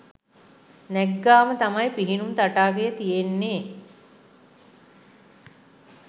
නැග්ගාම තමයි පිහිනුම් තටාකය තියෙන්නේ